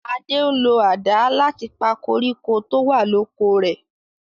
Ade ń lo àdá láti pa koríko tó wà l'oko rè.